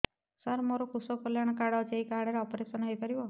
ସାର ମୋର କୃଷକ କଲ୍ୟାଣ କାର୍ଡ ଅଛି ଏହି କାର୍ଡ ରେ ଅପେରସନ ହେଇପାରିବ